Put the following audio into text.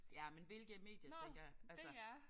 Ja men hvilke medier tænker jeg altså